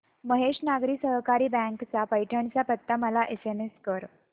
Mahesh Nagari Sahakari bank चा पैठण चा पत्ता मला एसएमएस कर